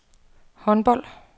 håndbold